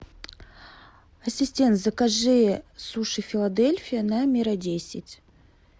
ассистент закажи суши филадельфия на мира десять